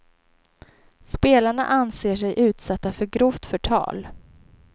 Spelarna anser sig utsatta för grovt förtal.